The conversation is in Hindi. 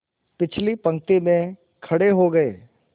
पिछली पंक्ति में खड़े हो गए